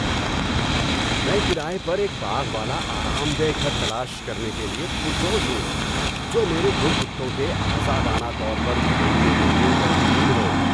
میں کرایہ پر ایک باغ والا آرام دہ گھر تلاش کرنے کے لیے پرجوش ہوں، جو میرے دو کتوں کے آزادانہ طور پر گھومنے کے لیے بہترین ہو۔